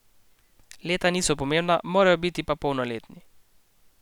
Leta niso pomembna, morajo pa biti polnoletni.